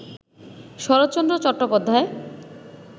Saratchandra Chattopadhyay